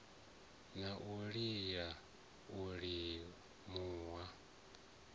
na u lila u minula